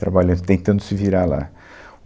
trabalhando, tentando se virar lá.